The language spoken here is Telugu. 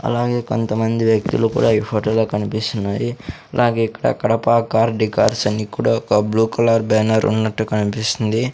అలాగే కొంతమంది వ్యక్తులు కూడా ఈ ఫోటో లో కనిపిస్తున్నాయి అలాగే ఇక్కడ కడప కార్ డెకర్స్ అన్ని కూడా ఒక బ్లూ కలర్ బ్యానర్ ఉన్నట్టు కనిపిస్తుంది.